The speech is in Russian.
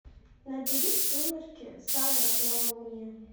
набери сумерки сага новолуние